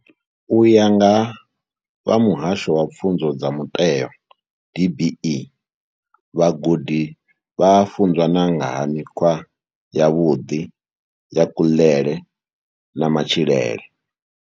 U ya nga vha muhasho wa pfunzo dza muteo DBE, vhagudi vha a funzwa na nga ha mikhwa yavhuḓi ya kuḽele na matshilele.